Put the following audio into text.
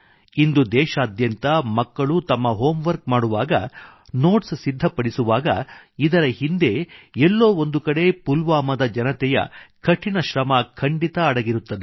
ಇಂದು ದೇಶಾದ್ಯಂತ ಮಕ್ಕಳು ತಮ್ಮ ಹೋಮ್ ವರ್ಕ್ ಮಾಡುವಾಗ ನೋಟ್ಸ್ ಸಿದ್ಧಪಡಿಸುವಾಗ ಇದರ ಹಿಂದೆ ಎಲ್ಲೋ ಒಂದುಬ ಕಡೆ ಪುಲ್ವಾಮಾದ ಜನತೆಯ ಕಠಿಣ ಶ್ರಮ ಖಂಡಿತಾ ಅಡಗಿರುತ್ತದೆ